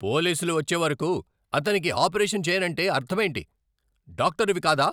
పోలీసులు వచ్చేవరకు అతనికి ఆపరేషను చెయ్యనంటే అర్ధమేంటి? డాక్టరువి కాదా?